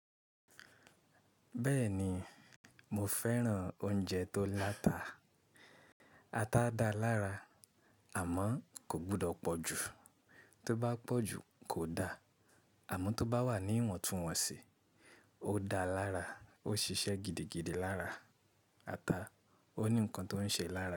Bẹ́ẹ̀ni, mo fẹ́ràn oúnjẹ tó láta. Ata dáa lára àmọ́ kò gbọdọ̀ pọ̀ jù. Tó bá pọ̀ jù kò da. Àmọ́ tó bá wà ní ìwọ̀ntúnwọ̀nsì, ó dáa lára, ó ṣiṣẹ́ gidigidi lára. Ata ó ní nǹkan tó ń ṣe lára.